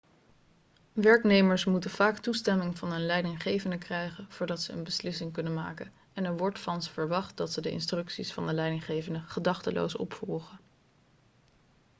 werknemers moeten vaak toestemming van hun leidinggevenden krijgen voordat ze een beslissing kunnen maken en er wordt van ze verwacht dat ze de instructies van de leidinggevenden gedachteloos opvolgen